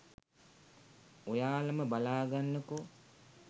ඔයාලම බලා ගන්නකෝ